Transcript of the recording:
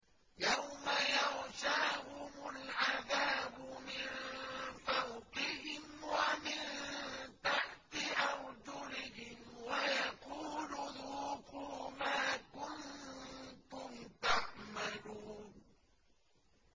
يَوْمَ يَغْشَاهُمُ الْعَذَابُ مِن فَوْقِهِمْ وَمِن تَحْتِ أَرْجُلِهِمْ وَيَقُولُ ذُوقُوا مَا كُنتُمْ تَعْمَلُونَ